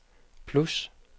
plus